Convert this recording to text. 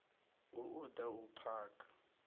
hu u da u phaga